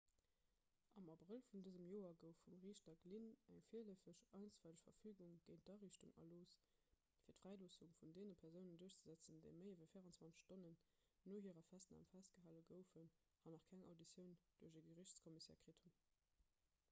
am abrëll vun dësem joer gouf vum riichter glynn eng virleefeg einstweileg verfügung géint d'ariichtung erlooss fir d'fräiloossung vun deene persounen duerchzesetzen déi méi ewéi 24 stonnen no hirer festnam festgehale goufen an nach keng auditioun duerch e geriichtscommissaire kritt hunn